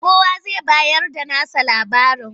Kowa zai bayarda nasa labarin.